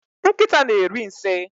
nkịta na-eri nsị